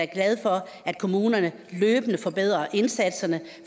glad for at kommunerne løbende forbedrer indsatserne